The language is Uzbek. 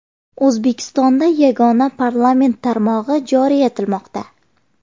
O‘zbekistonda yagona parlament tarmog‘i joriy etilmoqda.